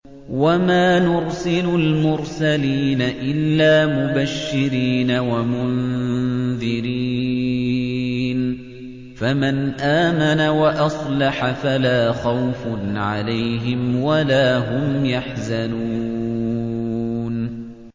وَمَا نُرْسِلُ الْمُرْسَلِينَ إِلَّا مُبَشِّرِينَ وَمُنذِرِينَ ۖ فَمَنْ آمَنَ وَأَصْلَحَ فَلَا خَوْفٌ عَلَيْهِمْ وَلَا هُمْ يَحْزَنُونَ